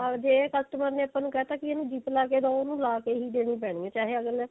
ਜੇ customer ਨੇ ਆਪਾਂ ਨੂੰ ਕਹਿ ਤਾ ਕੇ ਇਸ ਨੂੰ zip ਲਗਾ ਕੇ ਦਿਓ ਉਹਨੂੰ ਲਾ ਕਿ ਹੀ ਦੇਣੀ ਪੈਣੀ ਹੈ ਚਾਹੇ ਅਗਲੇ